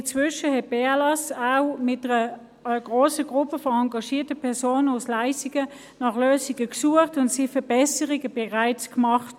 Inzwischen hat die BLS auch mit einer grossen Gruppe von engagierten Personen aus Leissigen nach Lösungen gesucht, und es wurden bereits Verbesserungen vorgenommen.